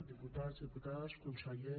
diputats diputades conseller